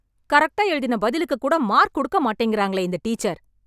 கரெக்டா எழுதின பதிலுக்கு கூட மார்க் கொடுக்க மாட்டேங்கிறாங்களே இந்த டீச்சர்